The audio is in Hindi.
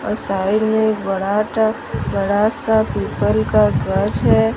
अ साइड मे एक बड़ाटा बड़ासा पीपल का गज हैं।